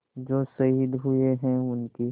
जो शहीद हुए हैं उनकी